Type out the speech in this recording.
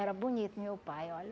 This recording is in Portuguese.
Era bonito meu pai, olha.